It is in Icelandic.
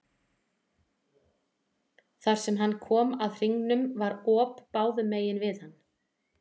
Þar sem hann kom að hringnum var op báðum megin við hann.